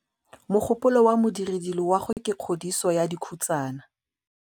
Mogôpolô wa Modirediloagô ke kgodiso ya dikhutsana.